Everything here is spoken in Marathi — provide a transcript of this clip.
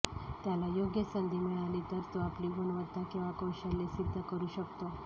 त्याला योग्य संधी मिळाली तर तो आपली गुणवत्ता किंवा कौशल्य सिध्द करू शकतो